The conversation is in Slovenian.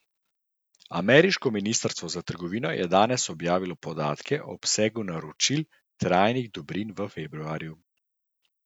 Ameriško ministrstvo za trgovino je danes objavilo podatke o obsegu naročil trajnih dobrin v februarju.